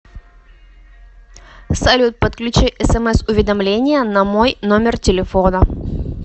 салют подключи смс уведомления намой номер телефона